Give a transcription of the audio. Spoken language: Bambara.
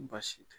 Baasi tɛ